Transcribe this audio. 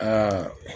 Aa